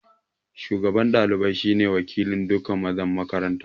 Shugaban ɗalibai shi ne wakilin duka mazan makarantar